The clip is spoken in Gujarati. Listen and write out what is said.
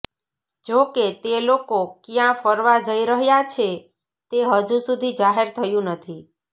જો કે તે લોકો ક્યાં ફરવા જઈ રહ્યા છે તે હજુ સુધી જાહેર થયુ નથી